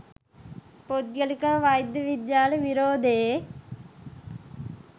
පුද්ගලික වෛද්‍ය විද්‍යාල විරෝධයේ